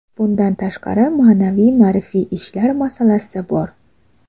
Bundan tashqari, ma’naviy-ma’rifiy ishlar masalasi bor.